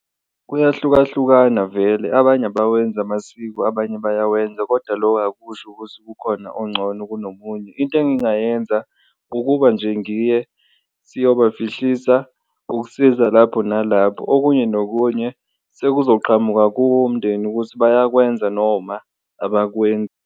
Kuyahlukahlukana vele abanye abawenzi amasiko abanye bayawenza kodwa loko akusho ukuthi kukhona oncono kunomunye, into engingayenza ukuba nje ngiye siyobafihlisa, ukusiza lapho nalapho, okunye nokunye sekuzoqhamuka kuwo umndeni ukuthi bayakwenza noma abakwenzi.